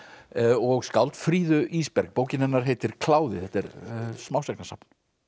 og skáld Fríðu Ísberg bókin hennar heitir kláði þetta er smásagnasafn